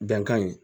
Bɛnkan ye